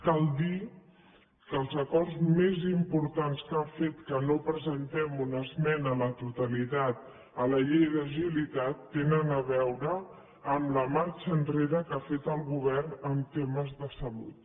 cal dir que els acords més importants que han fet que no presentem una esmena a la totalitat a la llei d’agilitat tenen a veure amb la marxa enrere que ha fet el govern en temes de salut